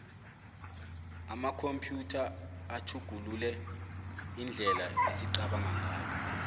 amakhompyutha atjhugulule indlela esiqabanga ngayo